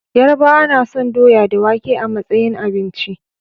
Yarabawa nason doya da wake a matsayin abinci